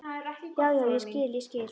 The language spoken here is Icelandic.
Já, já, ég skil, ég skil.